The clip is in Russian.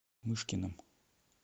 мышкиным